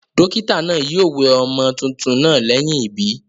Dókítà naa yio we ọmọ tuntun naa léyìn ìbí